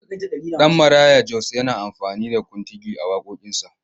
Danmaraya Jos na amfani da kuntigi a waƙoƙinsa.